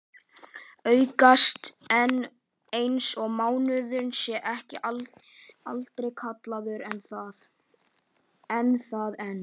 August eins og mánuðurinn en sé aldrei kallaður annað en